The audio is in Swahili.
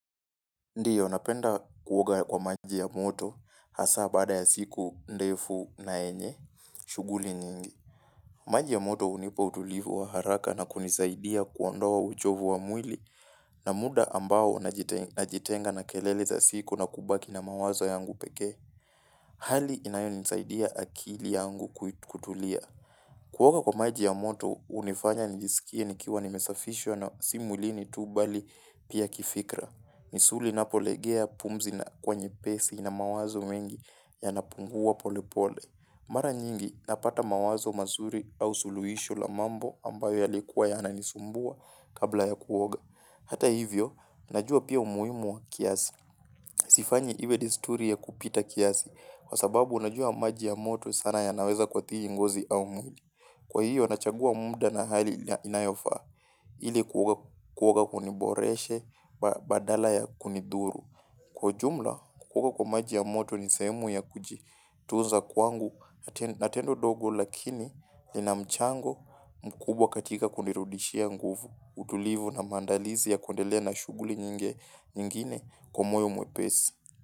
Ndiyo, napenda kuoga kwa maji ya moto hasa baada ya siku ndefu na yenye, shughuli nyingi. Maji ya moto hunipa utulivu wa haraka na kunisaidia kuondoa uchovu wa mwili na muda ambao najitenga na kelele za siku na kubaki na mawazo yangu peke. Hali inayonisaidia akili yangu kutulia. Kuoga kwa maji ya moto hunifanya njisikie nikiwa nimesafishwa na si mwilini tu bali pia kifikra. Misuli inapolegea pumzi inakuwa nyepesi na mawazo mengi yanapungua pole pole. Mara nyingi napata mawazo mazuri au suluhisho la mambo ambayo yalikuwa yananisumbua kabla ya kuoga. Hata hivyo, najua pia umuhimu wa kiasi. Sifanyi iwe desturi ya kupita kiasi kwa sababu najua maji ya moto sana yanaweza kuathiri ngozi au mwili. Kwa hiyo, nachagua muda na hali inayofaa ili kuoga kuniboreshe badala ya kunidhuru. Kwa ujumla, kuoga kwa maji ya moto ni sehemu ya kujitunza kwangu na tendo dogo lakini lina mchango mkubwa katika kunirudishia nguvu, utulivu na maandalizi ya kundelea na shughuli nyingine kwa moyo mwepesi.